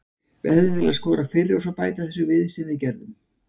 Við hefðum viljað skora fyrr og svo bæta þessu við sem við gerðum.